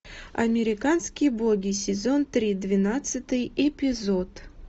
американские боги сезон три двенадцатый эпизод